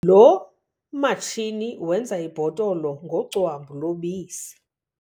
Lo matshini wenza ibhotolo ngocwambu lobisi.